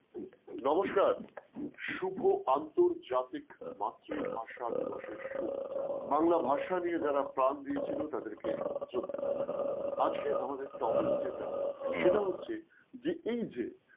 নমস্কার শুভ আন্তর্জাতিক মাতৃভাষা দিবসের শুভেচ্ছা বাংলা ভাষা নিয়ে যারা প্রাণ দিয়েছিল তাদেরকে শ্রদ্ধা জানাই, আজকে আমাদের topic যেটা সেটা হচ্ছে যে এই যে